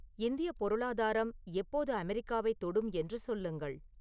இந்தியப் பொருளாதாரம் எப்போது அமெரிக்காவைத் தொடும் என்று சொல்லுங்கள்